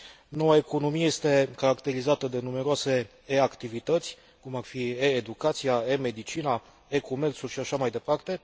Noua economie este caracterizată de numeroase e activități, cum ar fi e educația, e medicina, e comerțul și așa mai departe.